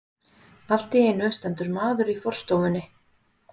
Allt í einu stendur maður í forstofunni.